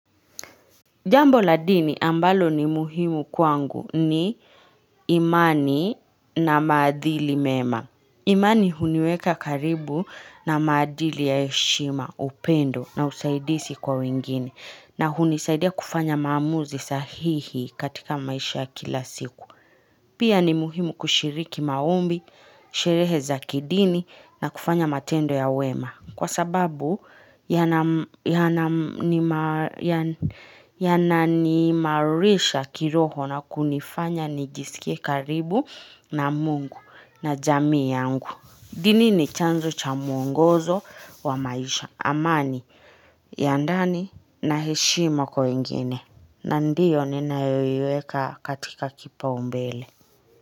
Jambo la dini ambalo ni muhimu kwangu ni imani na maadili mema. Imani huniweka karibu na maadili ya heshima upendo na usaidizi kwa wengine. Na hunisaidia kufanya maamuzi sahihi katika maisha ya kila siku. Pia ni muhimu kushiriki maombi, sherehe za kidini na kufanya matendo ya wema. Kwa sababu yananiimarisha kiroho na kunifanya nijisikie karibu na mungu na jamii yangu. Dini ni chanzo cha mwongozo wa maisha. Amani, ya ndani, na heshima kwa wengine. Na ndio ninayoiweka katika kipau mbele.